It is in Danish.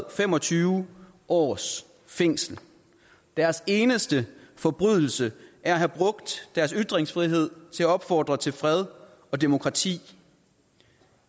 og fem og tyve års fængsel deres eneste forbrydelse er at have brugt deres ytringsfrihed til at opfordre til fred og demokrati